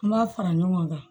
N b'a fara ɲɔgɔn kan